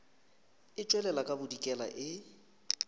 e tšwela ka bodikela e